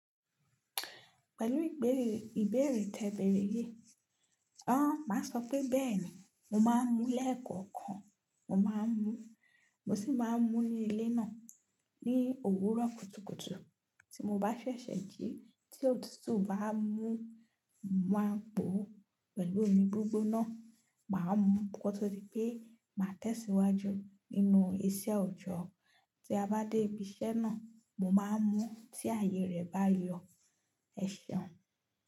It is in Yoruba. Pẹ̀lú ìbéèrè tẹ ìbéèrè yìí. Ọ́, màá sọ pé bẹ́ẹ̀ni mo máa mú lẹ́ẹ̀kọ̀kan. Mo máa ń mú, mo sì máa ń mú ní ilé náà ní òwúrọ̀ kùtùkùtù. Tí mo bá ṣẹ̀ṣẹ̀ jí, tí òtútù bá mú wá gbó pẹ̀lú mi gbogbo náà, màá mú bó tí pé màá tẹ̀síwájú nínú ìṣe ọ̀jọ̀. Tí a bá dé ibi iṣẹ́ náà, mo máa mú tí ààyè rẹ̀ bá yọ. Ẹ ṣéun.